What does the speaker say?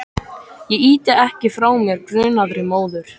Ég ýti ekki frá mér grunaðri móður.